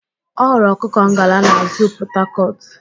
Ọ hụrụ ọkụkọ ngala na zuu Pọtakọtụ